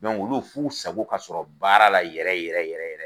olu f'u sago ka sɔrɔ baara la yɛrɛ yɛrɛ yɛrɛ yɛrɛ